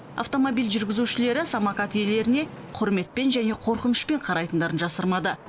автомобиль жүргізушілері самокат иелеріне құрметпен және қорқынышпен қарайтындарын жасырмады